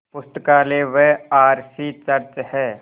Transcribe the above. पुस्तकालय व R C church हैं